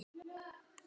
Mér líst vel á það.